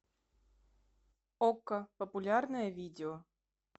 окко популярное видео